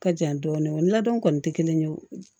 Ka jan dɔɔnin o ladon kɔni tɛ kelen ye o